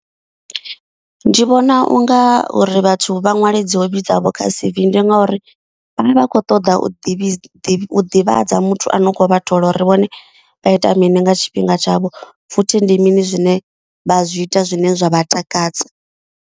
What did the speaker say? Ndi vhona u nga uri vhathu vha ṅwale dzi hobi dzavho kha C_V. Ndi ngauri vhavha vha kho ṱoḓa u ḓivha ḓivhadza muthu ano kho vha thola uri vhone vha ita mini nga tshifhinga tshavho. Futhi ndi mini zwine vha zwi ita zwine zwa vha takadza.